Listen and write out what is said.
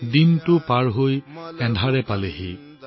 দিন শেষ হৈছে আৰু আন্ধাৰ নামিছে